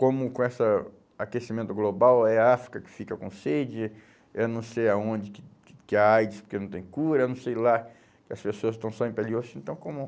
Como com essa aquecimento global, é a África que fica com sede, eu não sei aonde, que que a AIDS, porque não tem cura, eu não sei lá, que as pessoas estão só em pele e osso, então como